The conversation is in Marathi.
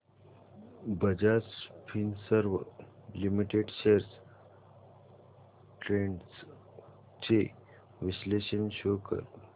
Bajaj Finserv limited shares trends चे विश्लेषण शो कर